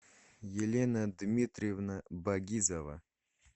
елена дмитриевна багизова